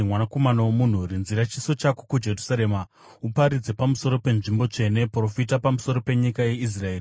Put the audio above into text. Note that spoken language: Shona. “Mwanakomana womunhu, rinzira chiso chako kuJerusarema uparidze pamusoro penzvimbo tsvene. Profita pamusoro penyika yeIsraeri,